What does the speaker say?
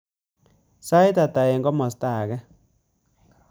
Sait atah eng komostab age